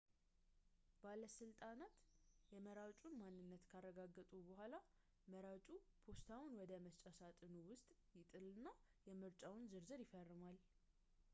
ባለሥልጣናት የመራጩን ማንነት ካረጋገጡ በኋላ መራጩ ፖስታውን ወደ መስጫ ሳጥኑ ውስጥ ይጥልና የምርጫውን ዝርዝር ይፈርማል